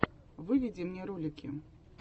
выведи мне ролики